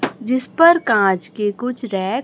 जिस पर कांच के कुछ रैंक --